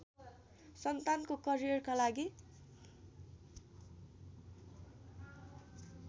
सन्तानको करियरका लागि